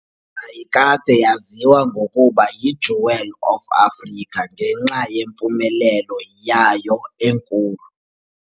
Yayikade yaziwa ngokuba yi "Jewel of Africa" ​​ngenxa yempumelelo yayo enkulu.